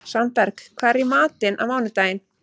Svanberg, hvað er í matinn á mánudaginn?